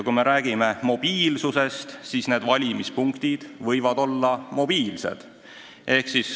Kui me peame tähtsaks mobiilsust, siis need valimispunktid võivad olla mobiilsed.